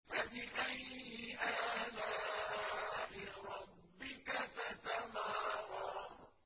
فَبِأَيِّ آلَاءِ رَبِّكَ تَتَمَارَىٰ